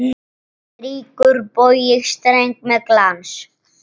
Strýkur bogi streng með glans.